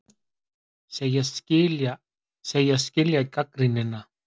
Segjast skilja gagnrýnina